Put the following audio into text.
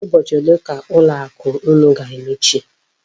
Ụbọchị ole ka ụlọ akụ unu ga-emechi?